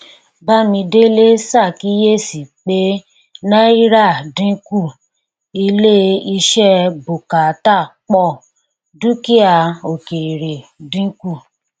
bámidélé ṣàkíyèsí pé náírà dínkù ilé iṣẹ bùkátà pọ dúkìá òkèèrè dínkù